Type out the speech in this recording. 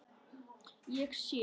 Ég sé.